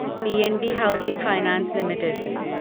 P N B housing finance limited